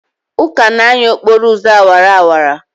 Uka na-anya n'okporo ụzọ awara awara?